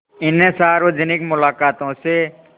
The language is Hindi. इन सार्वजनिक मुलाक़ातों से